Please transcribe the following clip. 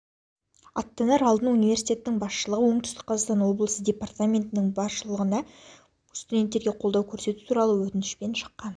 аттанар алдын университеттің басшылығы оңтүстік қазақстан облысы департаментінің басшылығына студенттерге қолдау көрсету туралы өтінішпен шыққан